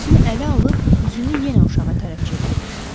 Özünü ələ alıb üzünü yenə uşağa tərəf çevirdi.